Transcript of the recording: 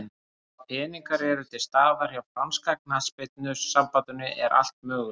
Ef að peningar eru til staðar hjá franska knattspyrnusambandinu er allt mögulegt.